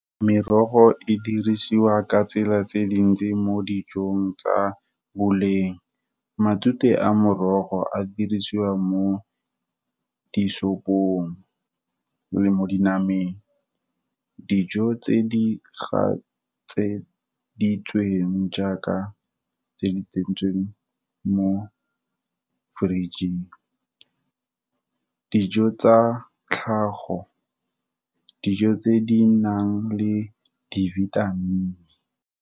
Merogo e dirisiwa ka tsela tse dintsi mo dijong tsa boleng, matute a morogo a dirisiwa mo disopong, le mo dinameng, dijo tse di gatseditsweng jaaka tse di tsentsweng mo fridge-eng. Dijo tsa tlhago dijo tse di nang le di-vitamin.